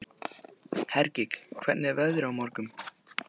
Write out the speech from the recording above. Hergill, hvernig er veðrið á morgun?